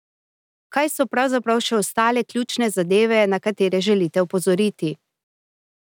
Kaj so pravzaprav še ostale ključne zadeve, na katere želite opozoriti?